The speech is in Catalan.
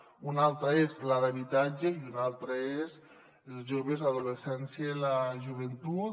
una altra és la d’habitatge i una altra és la d’infància adolescència i joventut